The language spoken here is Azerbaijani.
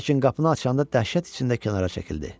Lakin qapını açanda dəhşət içində kənara çəkildi.